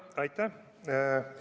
Aitäh!